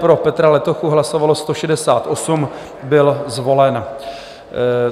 Pro Petra Letochu hlasovalo 168, byl zvolen.